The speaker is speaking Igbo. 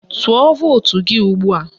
Tụọ vootu gị ugbua!